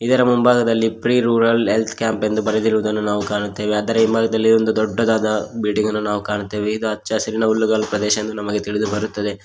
ಇದರ ಮುಂಭಾಗದಲ್ಲಿ free rural health camp ಎಂದು ಬರೆದಿರುವುದನ್ನು ನಾವು ಕಾಣುತ್ತೇವೆ ಅದರ ಹಿಂಭಾಗದಲ್ಲಿ ಒಂದು ದೊಡ್ಡದಾದ ಬಿಲ್ಡಿಂಗ್ ಅನ್ನು ನಾವು ಕಾಣುತ್ತೇವೆ ಇದು ಹಚ್ಚ ಹಸಿರಿನ ಹುಲ್ಲುಗಾವಲಿನ ಪ್ರದೇಶ ಎಂದು ನಮಗೆ ತಿಳಿದು ಬರುತ್ತದೆ.